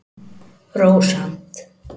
Rósant